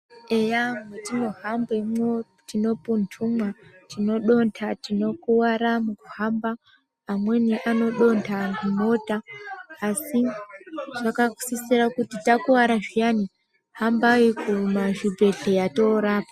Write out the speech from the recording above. Eya mwetinohambemwo tinopuntumwa tinodonta tinokuwara mukuhamba amweni anodonta mumota asi zvakasisira kuti takuwara zviyani hambai mumazvibhedhlera toorapwa.